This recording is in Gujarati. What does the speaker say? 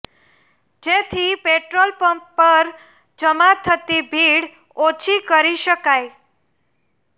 જેથી પેટ્રોલ પંપ પર જમા થતી ભીડ ઓછી કરી શકાય